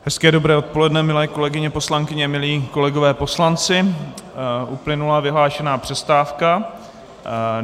Hezké dobré odpoledne, milé kolegyně poslankyně, milí kolegové poslanci, uplynula vyhlášená přestávka.